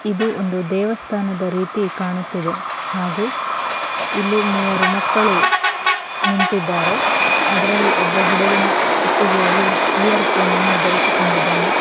ಇದು ಒಂದು ದೇವಸ್ಥಾನದ ರೀತಿ ಕಾಣುತ್ತಿದೆ ಹಾಗೂ ಇಲ್ಲಿ ಮೂವರು ಮಕ್ಕಳು ನಿಂತಿದ್ದಾರೆ ಅದ್ರಲ್ಲಿ ಒಬ್ಬ ಹುಡುಗನ ಕುತ್ತಿಗೆಯಲ್ಲಿ ಈಯರ್‌ ಪೋನ್‌ನ್ನು ಧರಿಸಿಕೊಂಡಿದ್ದಾನೆ.